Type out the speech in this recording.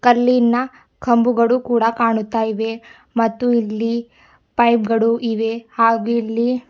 ಕಲ್ಲಿನ ಕಂಬುಗಳು ಕೂಡ ಕಾಣುತ್ತಾಯಿವೆ ಮತ್ತು ಇಲ್ಲಿ ಪೈಪ್ ಗಳು ಇವೆ ಹಾಗೆ ಇಲ್ಲಿ --